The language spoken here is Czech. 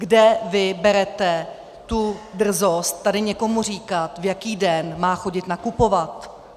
Kde vy berete tu drzost tady někomu říkat, v jaký den má chodit nakupovat?